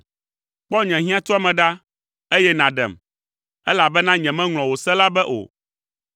Kpɔ nye hiãtuame ɖa, eye nàɖem, elabena nyemeŋlɔ wò se la be o.